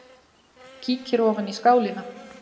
Kíkir ofan í skálina.